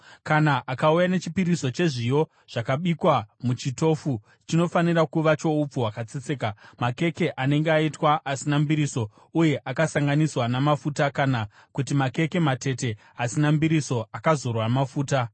“ ‘Kana ukauya nechipiriso chezviyo zvakabikwa muchitofu chinofanira kuva choupfu hwakatsetseka: makeke anenge aitwa asina mbiriso uye akasanganiswa namafuta kana kuti makeke matete asina mbiriso akazorwa mafuta.